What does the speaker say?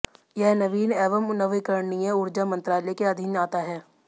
यह नवीन एवं नवीकरणीय ऊर्जा मंत्रालय के अधीन आता है